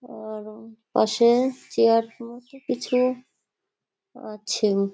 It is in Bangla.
আর পাশে চেয়ার মতো কিছু আছে।